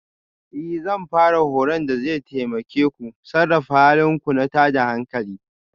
Ee Zan fara horon da zai taimake ku sarrafa halin ku na tada hankali